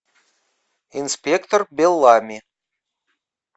инспектор беллами